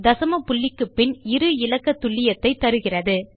தசம புள்ளிக்கு பின் இரு இலக்க துல்லியத்தைத் தருகிறது